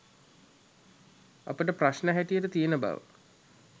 අපට ප්‍රශ්න හැටියට තියෙන බව